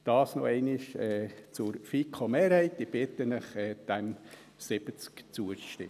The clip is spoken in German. Dies nochmals zur FiKo-Mehrheit. Ich bitte Sie, diesen 70 Prozent zuzustimmen.